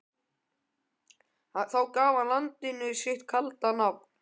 Þá gaf hann landinu sitt kalda nafn.